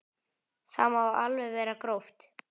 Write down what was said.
Það má alveg vera gróft.